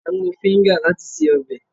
A ń lo fíńja láti se ọbẹ̀